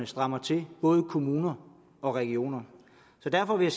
strammer til både i kommuner og regioner derfor vil